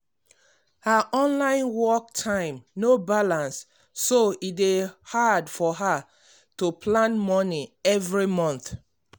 her online work time no balance so e dey hard for her to plan money every month.